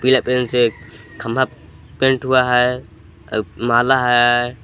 पीला से खंभा पेंट हुआ है माला है।